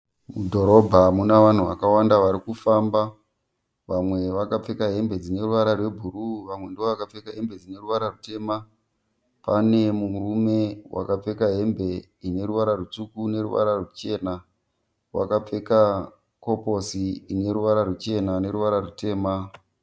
Mudhorobha muna vanhu vakawanda varikufamba vamwe vakapfeka hembe dzine ruvara rwebhuruu vamwe ndevakapfeka hembe dzeruvara rutema. Pane murume wakapfeka hembe ineruvara rutsvuku neruvara ruchena wakapfeka koposi ineruvara ruchena neruvara rutema.